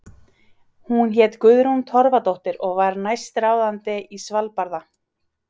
Hún hét Guðrún Torfadóttir og var næstráðandi í Svalbarða.